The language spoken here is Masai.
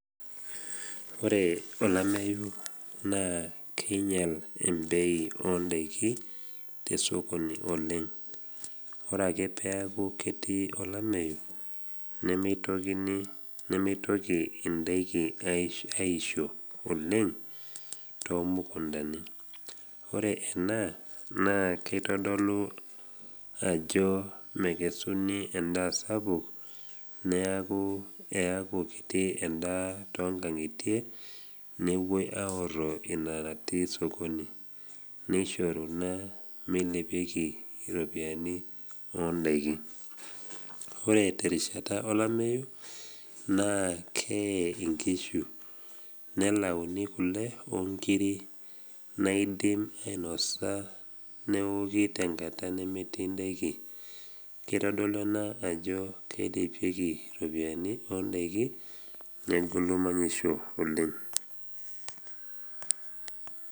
Ore olameyu naa keinya embei o ndaiki tesokoni oleng. Ore ake peaku ketii olameyu, nemeitoki indaiki aisho oleng tomukundani, ore ena naa keitodolu ajo mekesuni endaa sapuk neaku eaku kiti endaa tongang’itie newoi aoro ina natii sokoni neishoru ina meilepieki iropiani o ndaiki. Ore terishata olameyu, naa kee inkishu, nelauni kule o nkiri naidim ainosa neoki tenkata nemetii indaiki, keitodolu ena ajo keilepieki iropiani o ndaiki negolu manyisho oleng.